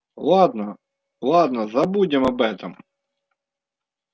ладно ладно забудем об этом